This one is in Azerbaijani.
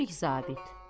Kiçik zabit.